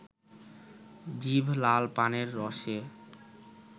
জিভ লাল পানের রসে